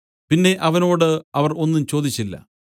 പിന്നെ അവനോട് അവർ ഒന്നും ചോദിച്ചില്ല